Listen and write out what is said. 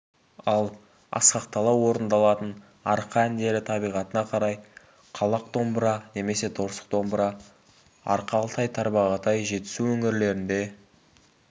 ал асқақтала орындалатын арқа әндері табиғатына қарай қалақ домбыра немесе торсық домбыра арқа алтай-тарбағатай жетісу өңірлерінде